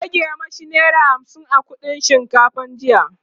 ta rage mashi naira hamsin a kuɗin shinkafa jiya